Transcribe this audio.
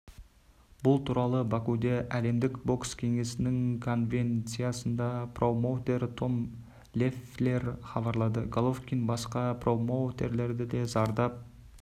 бұл туралы бакуде әлемдік бокс кеңесінің конвенциясында промоутер том леффлер хабарлады головкин басқа промоутерлерді де зардап